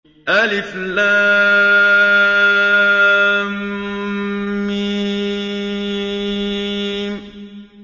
الم